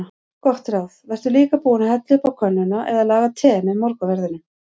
Gott ráð: Vertu líka búinn að hella upp á könnuna eða laga te með morgunverðinum.